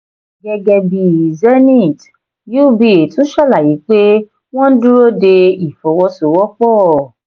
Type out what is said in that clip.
gẹ́gẹ́ bíi zenith uba tún ṣàlàyé pé wọ́n ń dúró de ìfọwọ́sowọ́pọ̀.